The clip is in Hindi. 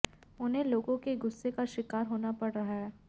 उन्हें लोगों के गुस्से का शिकार होना पड़ रहा है